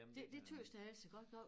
Det det tøs jeg da altid godt nok